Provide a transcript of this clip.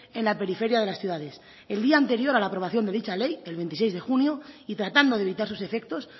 en la periferia de las ciudades el día anterior a la aprobación de dicha ley el veintiséis de junio y tratando de evitar sus efectos